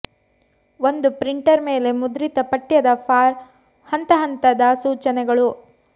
ಒಂದು ಪ್ರಿಂಟರ್ ಮೇಲೆ ಮುದ್ರಿತ ಪಠ್ಯದ ಫಾರ್ ಹಂತ ಹಂತದ ಸೂಚನೆಗಳು